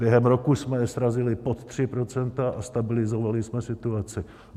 Během roku jsme srazili pod 3 % a stabilizovali jsme situaci.